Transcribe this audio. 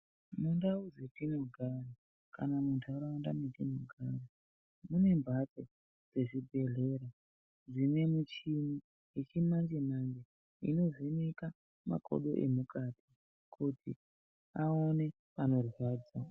Mundau dzetinogara kana muntaraunda mwetinogara mune mphatso dzezvibhedhlera dzine michini yechimanje manje inovheneka makodo emukati kuti aone panorwadza.